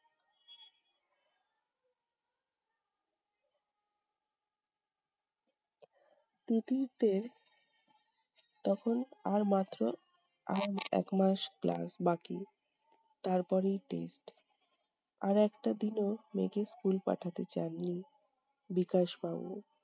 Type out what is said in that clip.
তিতিরদের তখন আর মাত্র আর এক মাস class বাকি, তারপরেই test আর একটা দিনও মেয়েকে school পাঠাতে চাননি বিকাশ বাবু।